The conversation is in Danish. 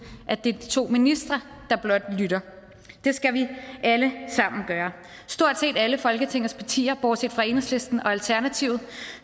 at det er de to ministre der blot lytter det skal vi alle sammen gøre stort set alle folketingets partier bortset fra enhedslisten og alternativet